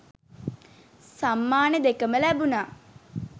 සම්මාන දෙකම ලැබුණා.